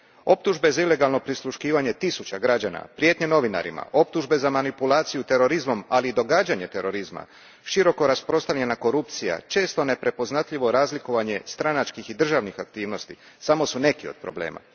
Optužbe za ilegalno prisluškivanje tisuće građana, prijetnje novinarima, optužbe za manipulaciju terorizmom, ali i događanje terorizma, široko rasprostranjena korupcija, često neprepoznatljivo razlikovanje stranačkih i državnih aktivnosti samo su neki od problema.